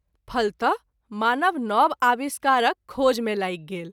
फलतः मानव नव आविष्कारक खोज मे लागि गेल।